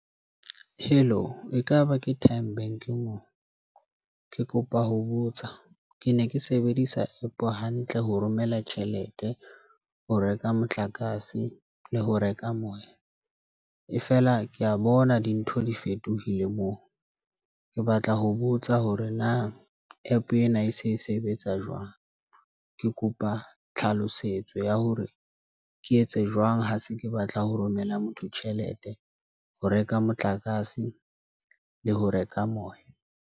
Hello, ekaba ke Time Bank moo. Ke kopa ho botsa ke ne ke sebedisa App hantle ho romela tjhelete ho reka motlakase le ho reka moya. E fela ke a bona dintho di fetohile moo, Ke batla ho botsa hore na App ena e se e sebetsa jwang. Ke kopa tlhalosetso ya hore ke etse jwang ha se ke batla ho romella motho tjhelete ho reka motlakase le ho reka moya.